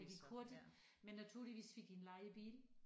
Det gik hurtigt men naturligvis fik vi en lejebil